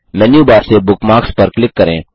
मेनू bar से bookmarks पर click करें